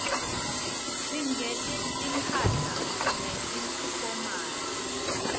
singeti mphahla leti fomali